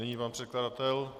Nyní pan předkladatel.